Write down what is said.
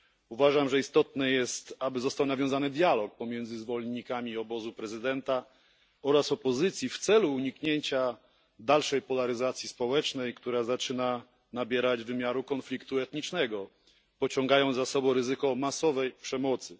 Uważam, że istotne jest, aby został nawiązany dialog pomiędzy zwolennikami obozu prezydenta oraz opozycji w celu uniknięcia dalszej polaryzacji społecznej, która zaczyna nabierać wymiaru konfliktu etnicznego, pociągając za sobą ryzyko masowej przemocy.